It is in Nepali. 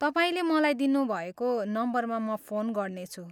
तपाईँले मलाई दिनुभएको नम्बरमा म फोन गर्नेछु।